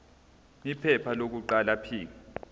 iphepha lokuqala p